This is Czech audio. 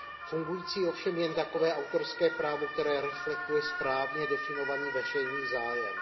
Fungující ovšem jen takové autorské právo, které reflektuje správně definovaný veřejný zájem.